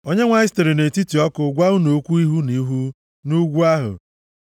Onyenwe anyị sitere nʼetiti ọkụ gwa unu okwu ihu na ihu nʼugwu ahụ.